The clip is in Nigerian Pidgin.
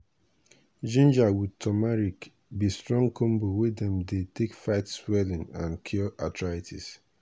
ginger with turmeric be strong combo wey dem dey take fight swelling and cure arthritis.